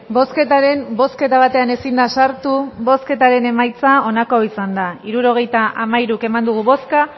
bozketaren bozketa batean ezin da sartu bozketaren emaitza onako izan da hirurogeita hamairu eman dugu bozka